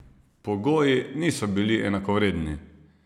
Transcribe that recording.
Pogoji niso bili enakovredni.